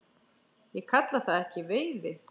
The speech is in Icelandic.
Ég kalla það ekki veiði.